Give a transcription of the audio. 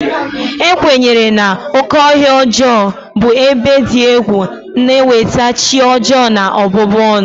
A kwenyere na "oke ọhịa ọjọọ" bụ ebe dị egwu na-eweta chi ọjọọ na ọbụbụ ọnụ.